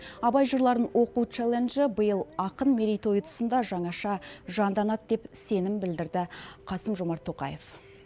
абай жырларын оқу челленджі биыл ақын мерейтойы тұсында жаңаша жанданады деп сенім білдірді қасым жомарт тоқаев